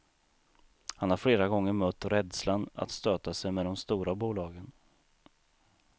Han har flera gånger mött rädslan att stöta sig med de stora bolagen.